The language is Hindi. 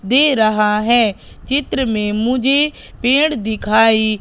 दे रहा है। चित्र में मुझे पेड़ दिखाई--